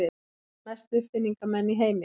Mestu uppfinningamenn í heimi.